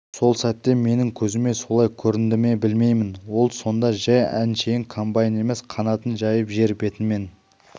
сол сәтте менің көзіме солай көрінді ме білмеймін ол сонда жай әншейін комбайн емес қанатын жайып жер бетімен